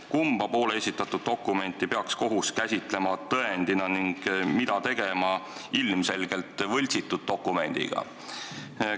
Kumma poole esitatud dokumenti peaks kohus käsitlema tõendina ning mida tegema ilmselgelt võltsitud dokumendiga?